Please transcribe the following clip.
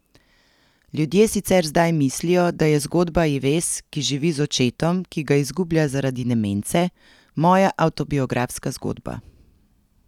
Ljudje sicer zdaj mislijo, da je zgodba Ives, ki živi z očetom, ki ga izgublja zaradi demence, moja avtobiografska zgodba.